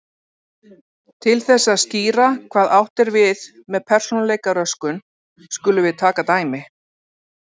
Til þess að skýra hvað átt er við með persónuleikaröskun skulum við taka dæmi.